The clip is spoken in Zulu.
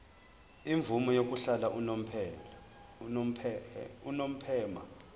imvume yokuhlala unomphema